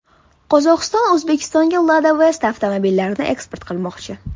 Qozog‘iston O‘zbekistonga Lada Vesta avtomobillarini eksport qilmoqchi.